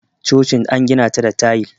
chocin an gina ta da tayil